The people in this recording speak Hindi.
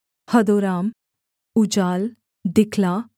हदोराम ऊजाल दिक्ला